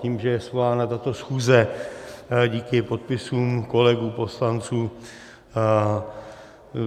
Tím, že je svolána tato schůze díky podpisům kolegů poslanců.